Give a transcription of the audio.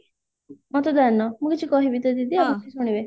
ମତଦାନ ମୁଁ କିଛି କହିବି ତ ଦିଦି ଆପଣ ଖାଲି ଶୁଣିବେ